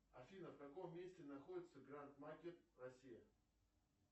афина в каком месте находится гранд макет россия